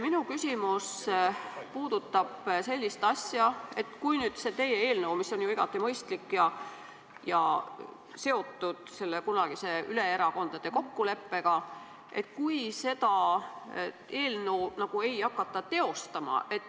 Minu küsimus puudutab sellist asja, et kui teie eelnõu, mis on ju igati mõistlik ja seotud selle kunagise erakondadevahelise kokkuleppega, ei hakata teostama.